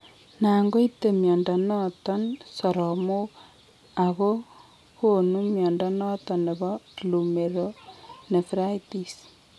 Nan koite mnyondo noton soromok ako kon mnyondo noton nebo glomerulonephritis